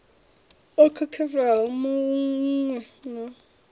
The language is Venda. o khakhelaho mu we na